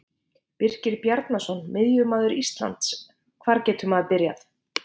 Birkir Bjarnason Miðjumaður Ísland Hvar getur maður byrjað?